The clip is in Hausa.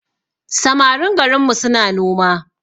Samarin garinmu suna noma